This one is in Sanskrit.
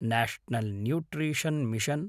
national nutrition mission